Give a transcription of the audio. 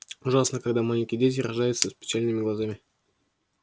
ужасно когда маленькие дети рождаются с печальными глазами